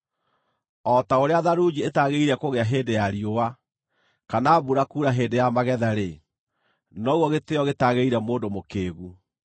O ta ũrĩa tharunji ĩtaagĩrĩire kũgĩa hĩndĩ ya riũa, kana mbura kuura hĩndĩ ya magetha-rĩ, noguo gĩtĩĩo gĩtagĩrĩire mũndũ mũkĩĩgu.